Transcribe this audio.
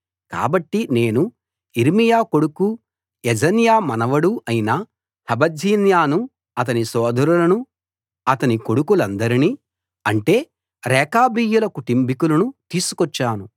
కాబట్టి నేను యిర్మీయా కొడుకూ యజన్యా మనవడూ అయిన హబజ్జిన్యాను అతని సోదరులను అతని కొడుకులందరినీ అంటే రేకాబీయుల కుటుంబికులను తీసుకొచ్చాను